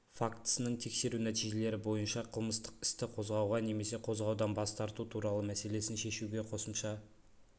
фактісінің тексеру нәтижелері бойынша қылмыстық істі қозғауға немесе қозғаудан бас тарту туралы мәселесін шешуге қосымша